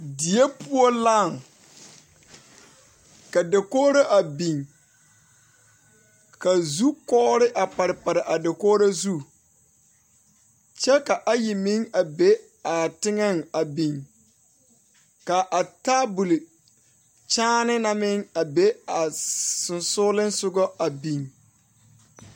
Die poɔ laŋ ka dakogro a biŋ kazukɔgre a pare pare a dakogro zu kyɛ ka ayi meŋ be a teŋɛŋ a biŋ ka a tabol kyaane na meŋ be a sɔŋsɔgliŋsɔgɔŋ a biŋ.